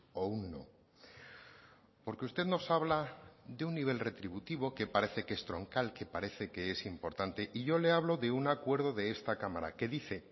o un no porque usted nos habla de un nivel retributivo que parece que es troncal que parece que es importante y yo le hablo de un acuerdo de esta cámara que dice